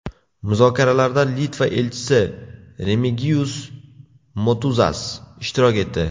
Muzokaralarda Litva elchisi Remigiyus Motuzas ishtirok etdi.